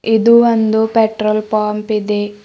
ಇದು ಒಂದು petrol pump ಇದೆ.